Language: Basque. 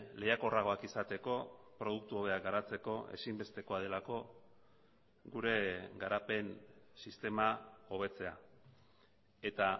lehiakorragoak izateko produktu hobeak garatzeko ezinbestekoa delako gure garapen sistema hobetzea eta